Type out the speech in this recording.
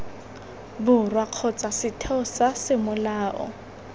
borwa kgotsa setheo sa semolao